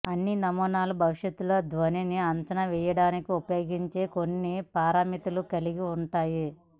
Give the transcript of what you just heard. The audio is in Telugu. అన్ని నమూనాలు భవిష్యత్తులో ధ్వనిని అంచనా వేయడానికి ఉపయోగించే కొన్ని పారామితులను కలిగి ఉంటాయి